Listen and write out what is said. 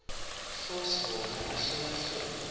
force wona ahlolahlole